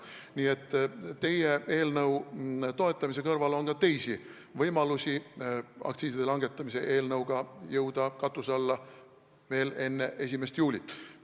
Nii et teie eelnõu toetamise kõrval on ka teisi võimalusi aktsiiside langetamise eelnõuga veel enne 1. juulit katuse alla jõuda.